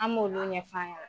An b'olu ɲɛ f'a ɲɛna .